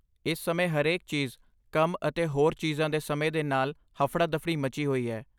ਇਸ ਸਮੇਂ ਹਰੇਕ ਚੀਜ਼, ਕੰਮ ਅਤੇ ਹੋਰ ਚੀਜ਼ਾਂ ਦੇ ਸਮੇਂ ਦੇ ਨਾਲ ਹਫੜਾ ਦਫੜੀ ਮੱਚੀ ਹੋਈ ਹੈ